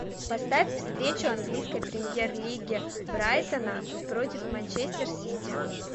поставь встречу английской премьер лиги брайтона против манчестер сити